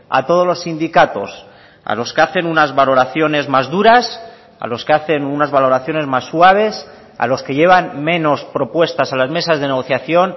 a todos los sindicatos a los que hacen unas valoraciones más duras a los que hacen unas valoraciones más suaves a los que llevan menos propuestas a las mesas de negociación